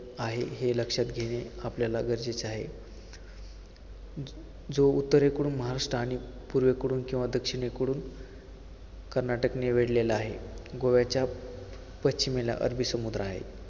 आहे. हे लक्षात घेणे आपल्याला गरजेचे आहे. ज~ जो उत्तरेकडून महाराष्ट्र आणि पूर्वेकडून किंवा दक्षिणेकडून कर्नाटकने वेढलेला आहे, गोव्याच्या पश्चिमेला अरबी समुद्र आहे.